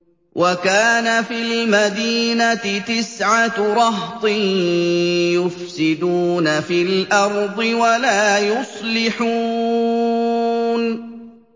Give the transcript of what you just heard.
وَكَانَ فِي الْمَدِينَةِ تِسْعَةُ رَهْطٍ يُفْسِدُونَ فِي الْأَرْضِ وَلَا يُصْلِحُونَ